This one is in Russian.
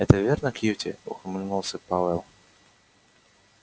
это верно кьюти ухмыльнулся пауэлл